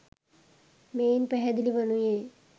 මෙයින් පැහැදිලි වනුයේ